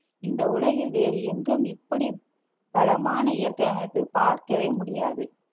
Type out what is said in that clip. இந்த உலகில் வேறு எங்கும் இப்படி வளமான இயற்கை அமைப்பை பார்க்கவே முடியாது